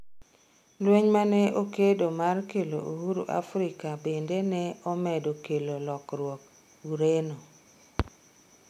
Lweny mane okedo mar kelo uhuru Afrika bende ne omedo kelo lokruok Ureno